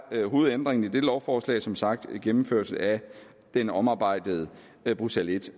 hovedændringen i dette lovforslag som sagt en gennemførelse af den omarbejdede bruxelles i